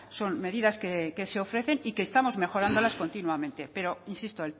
son medidas que se ofrecen y que estamos mejorándolas continuamente pero insisto